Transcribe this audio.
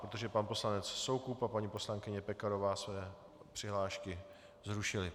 Protože pan poslanec Soukup a paní poslankyně Pekarová své přihlášky zrušili.